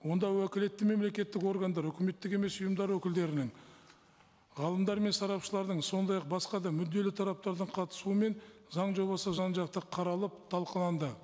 онда уәкілетті мемлекеттік органдар үкіметтік емес ұйымдар өкілдерінің ғалымдар мен сарапшылардың сондай ақ басқа да мүдделі тараптардың қатысуымен заң жобасы жан жақты қаралып талқыланды